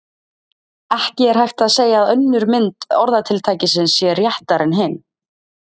Ekki er hægt að segja að önnur mynd orðatiltækisins sé réttari en hin.